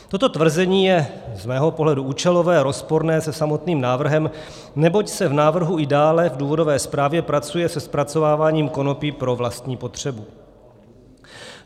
Toto tvrzení je z mého pohledu účelové, rozporné se samotným návrhem, neboť se v návrhu i dále v důvodové zprávě pracuje se zpracováváním konopí pro vlastní potřebu.